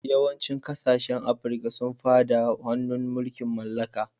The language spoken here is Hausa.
Yawancin kasashen Afirka sun fada hannun mulkin mallaka.